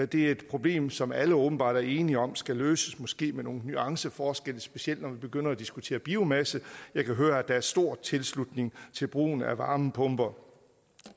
det er et problem som alle åbenbart er enige om skal løses måske med nogle nuanceforskelle specielt når vi begynder at diskutere biomasse jeg kan høre at der er stor tilslutning til brugen af varmepumper